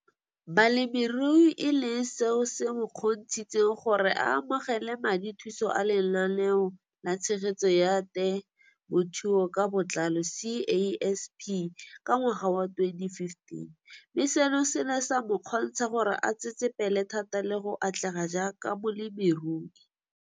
Balemirui e leng seo se mo kgontshitseng gore a amogele madithuso a Lenaane la Tshegetso ya Te mothuo ka Botlalo CASP ka ngwaga wa 2015, mme seno se ne sa mo kgontsha gore a tsetsepele thata le go atlega jaaka molemirui.